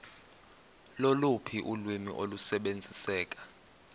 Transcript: loluphi ulwimi olusebenziseka